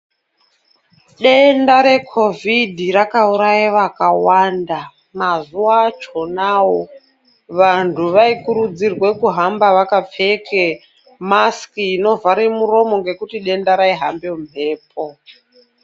Denda recovid rakauraya vakawanda Mazuva achona awo vantu vanokurudzirwa kuhambe vakapfeka masiki ngekuti denda raihamba mumhepo.